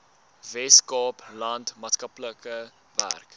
weskaapland maatskaplike werk